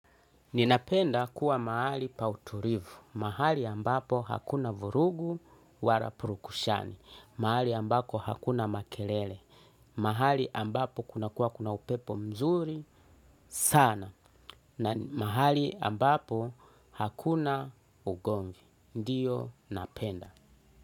Ninapenda kuwa mahali pautulivu. Mahali ambapo hakuna vurugu wala purukushani. Mahali ambapo hakuna makelele. Mahali ambapo kuna kuwa kuna upepo mzuri sana. Na mahali ambapo hakuna ugonvi. Ndiyo napenda.